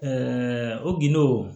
o gindow